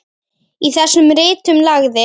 Í þessum ritum lagði